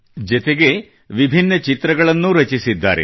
ಜತೆಗೇ ವಿಭಿನ್ನ ಚಿತ್ರಗಳನ್ನೂ ರಚಿಸಿದ್ದಾರೆ